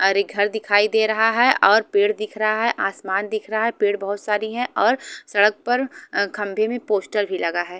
अरे एक घर दिखाई दे रहा है और पेड़ दिख रहा है आसमान दिख रहा है पेड़ बहोत सारी है और सड़क पर खंभे भी पोस्टर भी लगा है--